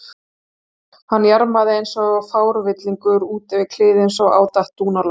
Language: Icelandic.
Hann jarmaði eins og frávillingur út yfir kliðinn svo á datt dúnalogn.